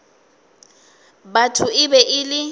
batho e be e le